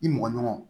I mɔgɔɲɔgɔnw